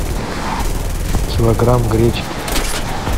килограмм гречки